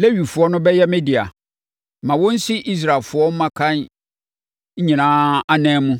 Lewifoɔ no bɛyɛ me dea. Ma wɔnsi Israelfoɔ mmakan nyinaa anan mu,